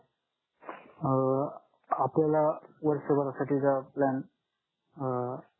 अं आपल्याला वर्ष भर साठी चा प्लॅन अं